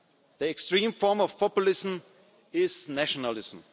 migrants. The extreme form of populism is nationalism.